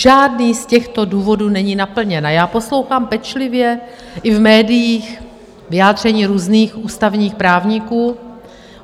Žádný z těchto důvodů není naplněn a já poslouchám pečlivě i v médiích vyjádření různých ústavních právníků.